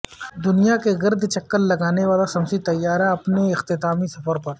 دنیا کے گرد چکر لگانے والا شمسی طیارہ اپنے اختتامی سفر پر